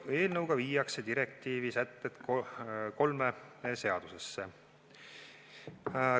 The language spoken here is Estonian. Eelnõuga viiakse direktiivi sätted kolme seadusesse.